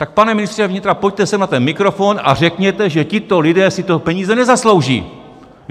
Tak pane ministře vnitra, pojďte sem na ten mikrofon a řekněte, že tito lidé si ty peníze nezaslouží!